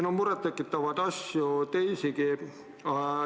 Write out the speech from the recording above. Aga murettekitavaid asju on teisigi.